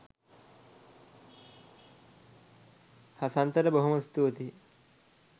හසන්තට බොහොම ස්තුතියි